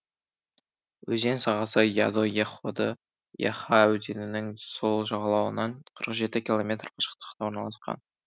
өзен сағасы яда яходы яха өзенінің сол жағалауынан қырық жеті километр қашықтықта орналасқан